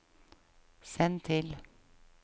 send til